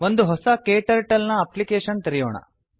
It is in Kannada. ಒಂದು ಹೊಸ ಕ್ಟರ್ಟಲ್ ನ ಅಪ್ಲಿಕೇಷನ್ ತೆರೆಯೋಣ